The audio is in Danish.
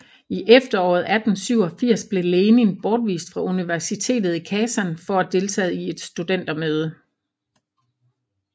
I efteråret 1887 blev Lenin bortvist fra universitetet i Kasan for deltagelse i et studentermøde